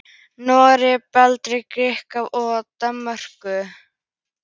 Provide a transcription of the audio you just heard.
Noregi, Bretlandi, Grikklandi og auðvitað Danmörku.